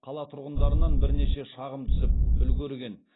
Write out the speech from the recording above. қала тұрғындарынан бірнеше шағым түсіп үлгерген